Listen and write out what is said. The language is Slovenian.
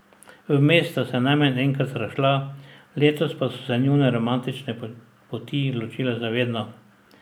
Vmes sta se najmanj enkrat razšla, letos pa so se njune romantične poti ločile za vedno.